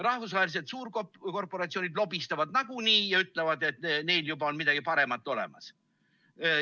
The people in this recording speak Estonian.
Rahvusvahelised suurkorporatsioonid lobistavad nagunii ja ütlevad, et neil on juba midagi paremat olemas.